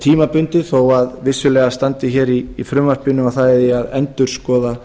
tímabundið þó að vissulega standi í frumvarpinu að endurskoða